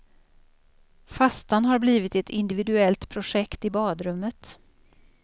Fastan har blivit ett individuellt projekt i badrummet.